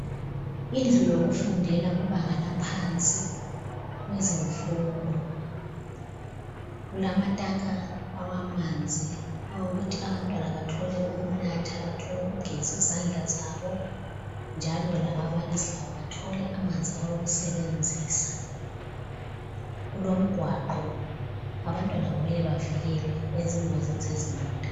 Indlu yokufundela kubanga laphansi, kwezemfundo. Kulamatanka awamanzi awokuthi abantwana bathole ukunatha, bathole ukugeza izandla zabo njalo lababalisi labo bathole amanzi awokusebenzisa. Kulomgwaqo, abantwana kumele bavikelwe ezingozini zezimota.